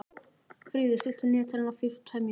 Fríður, stilltu niðurteljara á fjörutíu og tvær mínútur.